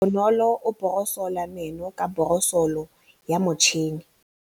Bonolô o borosola meno ka borosolo ya motšhine.